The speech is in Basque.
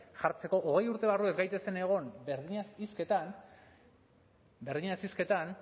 jartzeko hogei urte barru ez gaitezen egon berdinaz hizketan berdinaz hizketan